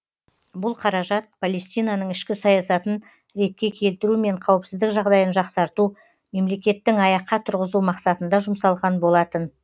бұл қаражат палестинаның ішкі саясатын ретке келтіру мен қауіпсіздік жағдайын жақсарту мемлекеттің аяққа тұрғызу мақсатында жұмсалған болатын